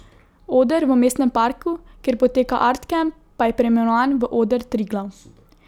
Oder v Mestnem parku, kjer poteka Art kamp, pa je preimenovan v Oder Triglav.